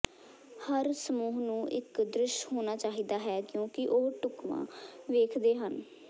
ਹਰ ਸਮੂਹ ਨੂੰ ਇੱਕ ਦ੍ਰਿਸ਼ ਹੋਣਾ ਚਾਹੀਦਾ ਹੈ ਕਿਉਂਕਿ ਉਹ ਢੁਕਵਾਂ ਵੇਖਦੇ ਹਨ